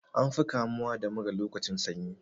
An fi kamuwa da mura lokacin sanyi.